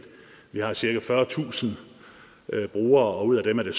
vi har cirka fyrretusind brugere og ud af dem er der